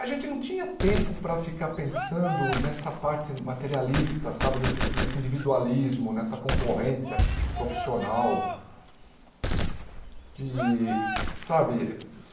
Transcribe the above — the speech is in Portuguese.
A gente não tinha tempo para ficar pensando nessa parte materialista, sabe nesse nesse individualismo, nessa concorrência profissional. De sabe